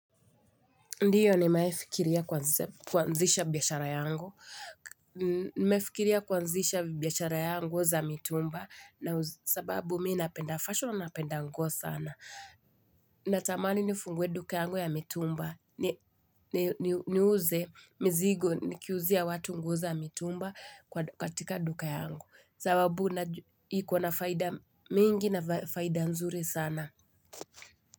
Ndio nimewahi fikiria kuanzisha biashara yangu za mitumba na sababu mi napenda fashion napenda nguo sana Natamani nifungue duka yangu ya mitumba Niuze mzigo nikiuzia watu nguo za mitumba katika duka yangu sababu najua ikona faida mingi na faida nzuri sana.